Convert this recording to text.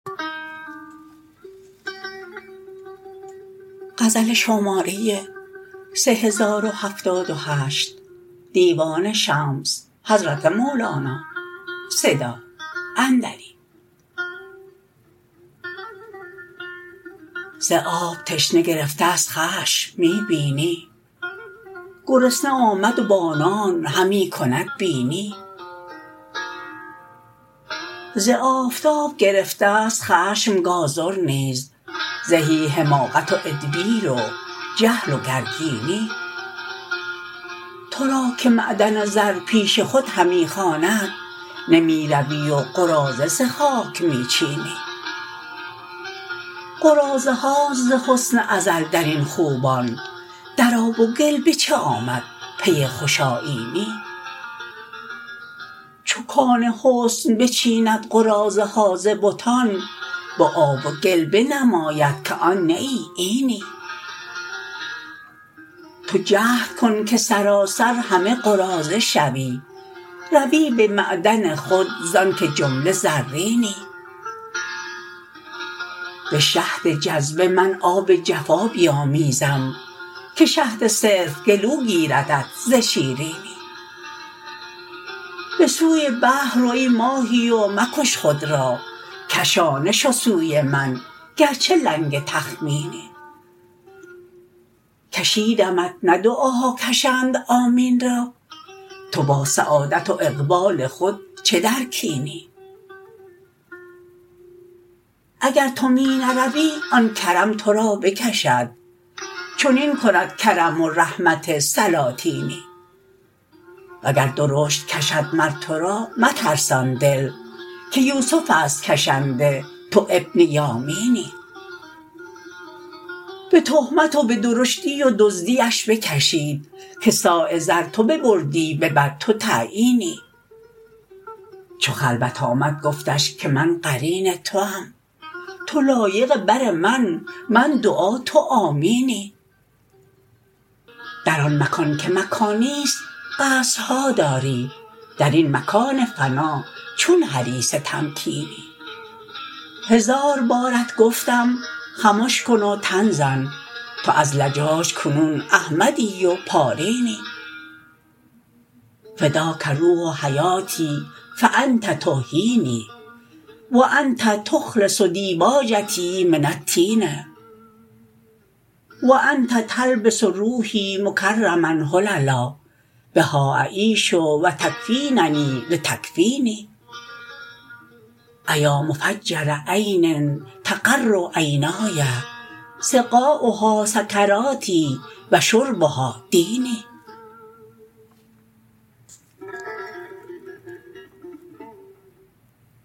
ز آب تشنه گرفته ست خشم می بینی گرسنه آمد و با نان همی کند بینی ز آفتاب گرفته ست خشم گازر نیز زهی حماقت و ادبیر و جهل و گر کینی تو را که معدن زر پیش خود همی خواند نمی روی و قراضه ز خاک می چینی قراضه هاست ز حسن ازل در این خوبان در آب و گل به چه آمد پی خوش آیینی چو کان حسن بچیند قراضه ها ز بتان به آب و گل بنماید که آن نه ای اینی تو جهد کن که سراسر همه قراضه شوی روی به معدن خود زانک جمله زرینی به شهد جذبه من آب جفا بیامیزم که شهد صرف گلو گیردت ز شیرینی کشیدمت نه دعاها کشند آمین را کشانه شو سوی من گرچه لنگ تخمینی به سوی بحر رو ای ماهی و مکش خود را تو با سعادت و اقبال خود چه در کینی اگر تو می نروی آن کرم تو را بکشد چنین کند کرم و رحمت سلاطینی وگر درشت کشد مر تو را مترسان دل که یوسفست کشنده تو ابن یامینی به تهمت و به درشتی و دزدیش بکشید که صاع زر تو ببردی به بد تو تعیینی چو خلوت آمد گفتش که من قرین توام تو لایقی بر من من دعا تو آمینی در آن مکان که مکان نیست قصرها داری در این مکان فنا چون حریص تمکینی هزار بارت گفتم خمش کن و تن زن تو از لجاج کنون احمدی و پارینی فداح روح حیاتی فانت تحیینی و انت تخلص دیباجتی من الطین و انت تلبس روحی مکرما حللا بها اعیش و تکفیننی لتکفینی ایا مفجر عین تقر عینینی سقاها سکراتی و شربها دینی